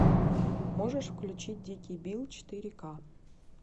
можешь включить дикий билл четыре ка